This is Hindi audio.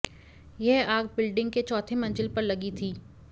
यह आग बिल्डिंग के चौथी मंजिल पर लगी थी